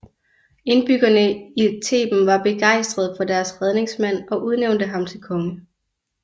Indbyggerne i Theben var begejstrede for deres redningsmand og udnævnte ham til konge